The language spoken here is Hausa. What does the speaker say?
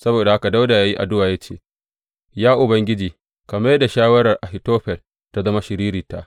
Saboda haka Dawuda ya yi addu’a ya ce, Ya Ubangiji ka mai da shawarar Ahitofel ta zama shiririta.